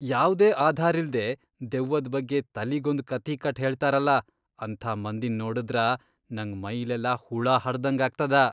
ಯಾವ್ದೇ ಆಧಾರಿಲ್ದೇ ದೆವ್ವದ್ ಬಗ್ಗೆ ತಲಿಗೊಂದ್ ಕಥಿ ಕಟ್ಟ್ ಹೇಳ್ತಾರಲಾ ಅಂಥ ಮಂದಿನ್ ನೋಡಿದ್ರ ನಂಗ್ ಮೈಲೆಲ್ಲ ಹುಳ ಹರ್ದಂಗ್ ಆಗ್ತದ.